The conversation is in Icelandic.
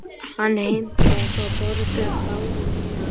Hann heimtaði að fá að borga báða miðana.